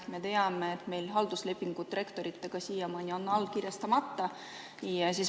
Me teame, et halduslepingud on rektoritega siiamaani allkirjastamata.